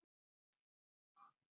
Á hlutlausu lokuðu svæði.